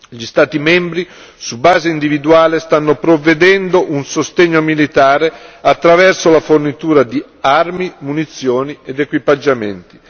Gli Stati membri, su base individuale, stanno provvedendo a un sostegno militare attraverso la fornitura di armi, munizioni ed equipaggiamenti.